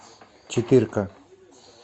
четыре ка